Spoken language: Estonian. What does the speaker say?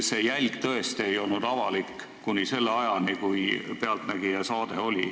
See jälg ei olnud tõesti avalik kuni "Pealtnägija" saateni.